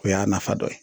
O y'a nafa dɔ ye